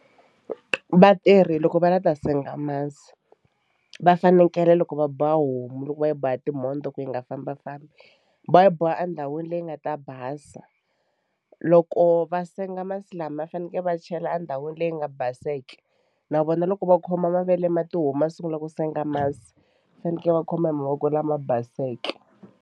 Vatirhi loko va lava ku ta senga masi va fanekele loko va boha homu loko va yi boha timhondzo ku yi nga fambafambi va yi boha endhawini leyi nga ta basa. Loko va senga masi lama va faneke va chela endhawini leyi nga baseke na vona loko va khoma mavele ma tihomu va sungula ku senga masi va faneke va khoma hi mavoko lama baseke.